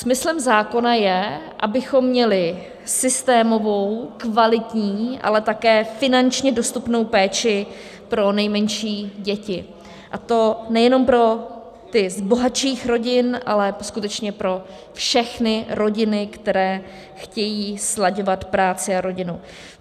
Smyslem zákona je, abychom měli systémovou, kvalitní, ale také finančně dostupnou péči pro nejmenší děti, a to nejenom pro ty z bohatších rodin, ale skutečně pro všechny rodiny, které chtějí slaďovat práci a rodinu.